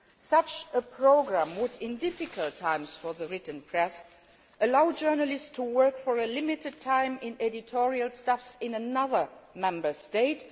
Such a programme would, in difficult times for the written press, allow journalists to work for a limited time with editorial staff in other Member